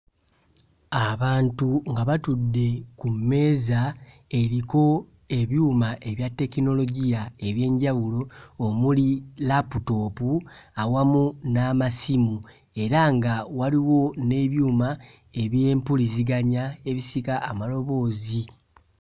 Abantu nga batudde ku mmeeza eriko ebyuma ebya tekinologiya eby'enjawulio omuli laputoopu awamu n'amasimu era nga waliwo n'ebyuma eby'empuliziganya ebisika amaloboozi.